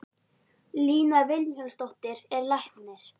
Lína Vilhjálmsdóttir er læknir.